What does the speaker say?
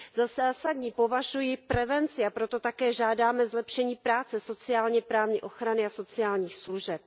Za zásadní považuji prevenci, a proto také žádáme zlepšení práce sociálně právní ochrany a sociálních služeb.